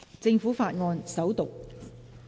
政府法案：首讀。